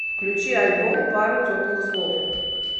включи альбом пару теплых слов